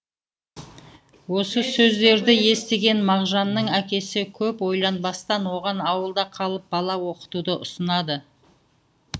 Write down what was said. осы сөздерді естіген мағжанның әкесі көп ойланбастан оған ауылда қалып бала оқытуды ұсынады